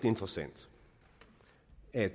er